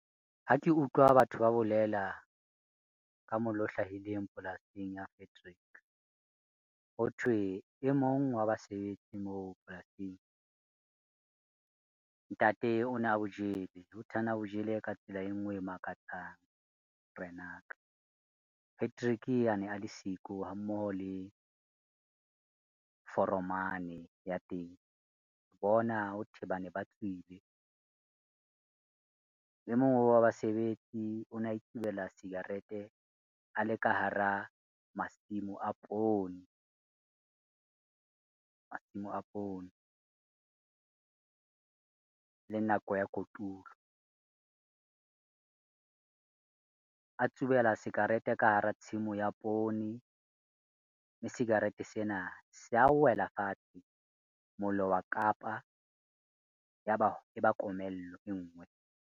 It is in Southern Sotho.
Ha ke utlwa batho ba bolela ka mollo o hlahileng polasing ya Frederick. Hothwe e mong wa basebetsi moo polasing, ntate ona bo jele. Hothwe ana bo jele ka tsela e nngwe e makatsang morenaka. Patrick a ne a le siko ha mmoho le foromane ya teng, ke bona hothwe bane ba tswile. E mong wa basebetsi o ne a itsubela cigarette a le ka hara masimo a poone, masimo a poone le nako ya kotulo. A tsubela cigarette ka hara tshimo ya poone, mme cigarette sena sa wela fatshe. Mollo wa kapa, Ya ba eba komello e nngwe.